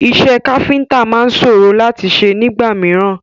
Iṣẹ́ káfíntà máa sòrò láti ṣe nígbà mìíràn.